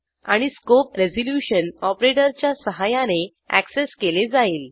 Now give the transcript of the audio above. आणि scope resolution ऑपरेटरच्या सहाय्याने अॅक्सेस केले जाईल